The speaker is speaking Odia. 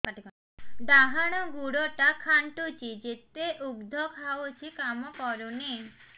ଡାହାଣ ଗୁଡ଼ ଟା ଖାନ୍ଚୁଚି ଯେତେ ଉଷ୍ଧ ଖାଉଛି କାମ କରୁନି